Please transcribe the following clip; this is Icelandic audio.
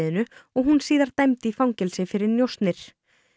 og hún síðar dæmd í fangelsi fyrir njósnir